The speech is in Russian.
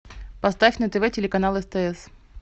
поставь на тв телеканал стс